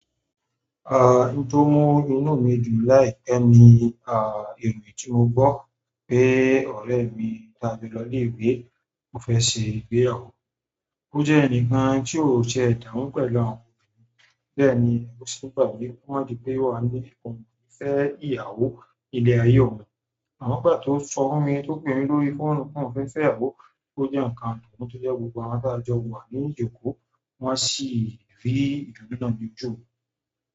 Ah, ohun tó mú inú mi dùn láìpẹ́ ni ah, ìròyìn tí mo gbọ́ pé ọ̀rẹ́ mi tí a jọ lọ ilé ìwé, o fẹ́ ṣe ìgbéyàwó. O jẹ́ ẹnìkan tí ó ṣe damu pẹ̀lú àwọn òbí mi, bẹ́ẹ̀ ni ó sì gba ìwúkọ́ àbí pé wà á ní ọkùnrin fẹ́ ìyàwó ile aye oun. Amọ ngba to sọ fún mi to pe mi lórí fóònù pe oun fẹ se ìyàwó o jẹ nkan to jẹ pe gbogbo àwọn taa jọ wa lórí ijoko wọn si ri ìdùnnú náà loju mi.